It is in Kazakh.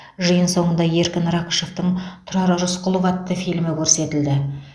жиын соңында еркін рақышовтың тұрар рысқұлов атты фильмі көрсетілді